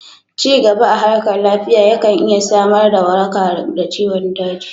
Cigaba a harkar lafiya ya kan iya samar da waraka da ciwon daji